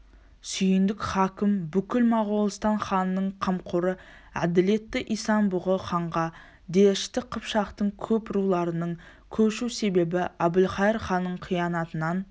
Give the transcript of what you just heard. сүйіндік хакім бүкіл моғолстан халқының қамқоры әділетті исан-бұғы ханға дәшті қыпшақтың көп руларының көшу себебі әбілқайыр ханның қиянатынан